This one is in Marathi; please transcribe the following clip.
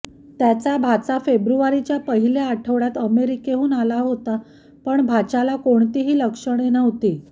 त्याचा भाचा फेब्रुवारीच्या पहिल्या आठ्वडयात अमेरिकेहून आला होता पण भाच्याला कोणतीही लक्षणे नव्हती